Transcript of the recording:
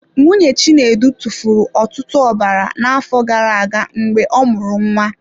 Nwunye Chinedu tụfuru ọtụtụ ọbara n'afọ gara aga mgbe ọ mụrụ nwa.